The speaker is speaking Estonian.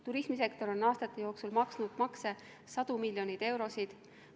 Turismisektor on aastate jooksul maksnud makse sadu miljoneid eurosid.